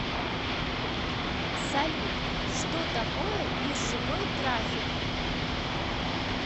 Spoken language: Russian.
салют что такое биржевой трафик